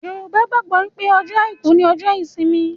Yorùbá gbàgbọ́ pé ọjọ́ àìkú ni ọjọ́ ìsinmi